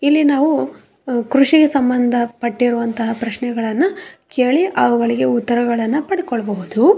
ಇಲ್ಲಿ ನಾವು ಕ್ರಷಿಗೆ ಸಂಬಂದಪಟ್ಟಿರೋವಂತಹ ಪ್ರೆಶ್ನೆಗಳನ್ನ ಕೇಳಿ ಅವುಗಳಿಗೆ ಉತ್ತರಗಳನ್ನ ಪಟ್ಟ್ಕೊಳ್ಳ್ಬಹುದು.